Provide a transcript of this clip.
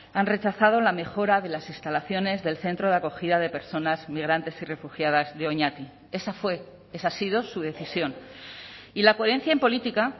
han rechazado la mejora de las instalaciones del centro de acogida de personas migrantes y refugiadas de oñati esa fue esa ha sido su decisión y la coherencia en política